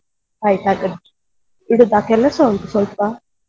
ಆಯ್ತ್ ಹಾಗಾದ್ರೆ ಇಡುದಾ ಕೆಲಸ ಉಂಟು ಸ್ವಲ್ಪ.